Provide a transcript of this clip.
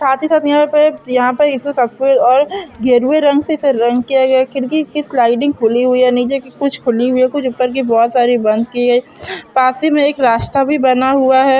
साथ ही साथ यहाँ पे यहाँ पे इन सबको गेरवे रंग से रंग किया गया है खिड़की की स्लाइडिंग खुली हुई है नीचे की कुछ खुली हुई है कुछ ऊपर की बहुत सारी बंद की हुई है पास ही मे एक रास्ता भी बना हुआ है।